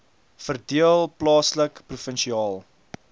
verdeel plaaslik provinsiaal